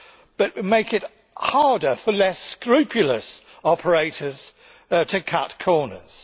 but make it harder for less scrupulous operators to cut corners.